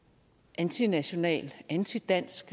antinational og antidansk